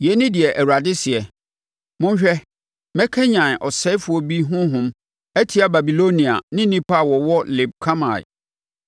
Yei ne deɛ Awurade seɛ: “Monhwɛ, mɛkanyane ɔsɛefoɔ bi honhom atia Babilonia ne nnipa a wɔwɔ Leb Kamai.